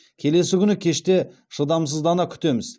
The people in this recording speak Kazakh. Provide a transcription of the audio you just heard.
келесі күні кеште шыдамсыздана күтеміз